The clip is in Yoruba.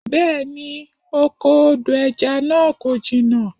Bẹ́̀ẹ ni, oko odo ẹja náà kò jìnnà.